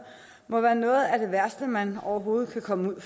må være noget af det værste man overhovedet kan komme ud